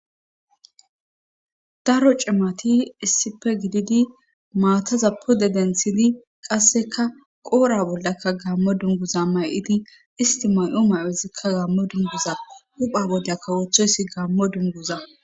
daro cimati issipe gididi maataza pode denthidi qasseka qoora bollakka gammo dunguza may7idi isti may7o may7ezikka gammo dunguza hupha boda kawoththoyssi gammo dunguza